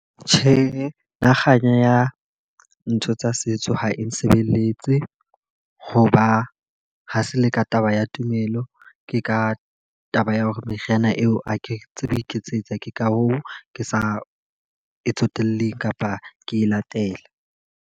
Tjhe, nna kganya ya ntho tsa setso ha e nsebeletse. Ho ba ha se le ka taba ya tumelo, ke ka taba ya hore meriana eo ha ke tsebe ho iketsetsa. Ke ka hoo ke sa tsotellehe kapa ke latela.